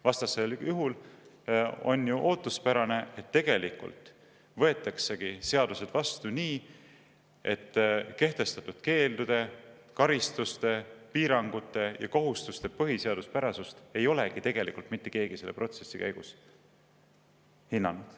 Vastasel juhul on ju ootuspärane, et tegelikult võetaksegi seadused vastu nii, et kehtestatud keeldude, karistuste, piirangute ja kohustuste põhiseaduspärasust ei olegi tegelikult mitte keegi selle protsessi käigus hinnanud.